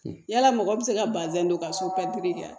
Yala mɔgɔ bɛ se ka bazɛn don ka so diya